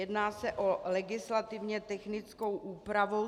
Jedná se o legislativně technickou úpravu.